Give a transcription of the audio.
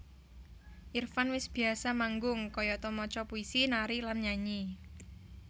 Irfan wis biyasa manggung kayata maca puisi nari lan nyanyi